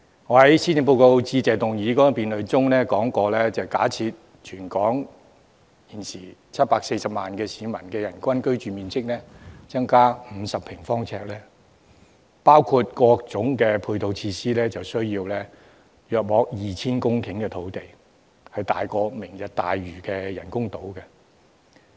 我在施政報告致謝議案辯論中說過，假設全港740萬市民的人均居住面積增加50平方呎，包括各種配套設施，需要大約 2,000 公頃土地，比"明日大嶼"的人工島還要大。